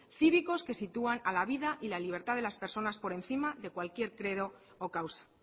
cívicos que sitúan a la vida y la libertad de las personas por encima de cualquier credo o causa